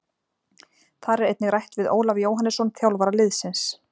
Þar er einnig rætt við Ólaf Jóhannesson þjálfara liðsins.